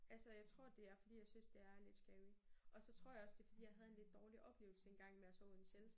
Altså jeg tror det er fordi jeg synes det er lidt scary og så tror jeg også det er fordi jeg havde en lidt dårlig oplevelse engang med at sove i en shelter